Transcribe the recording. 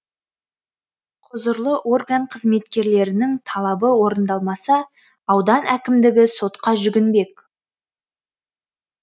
құзырлы орган қызметкерлерінің талабы орындалмаса аудан әкімдігі сотқа жүгінбек